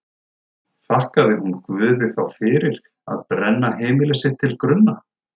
Þakkaði hún Guði þá fyrir að brenna heimili sitt til grunna?